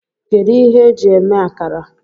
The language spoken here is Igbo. Kedu ihe eji eme akara?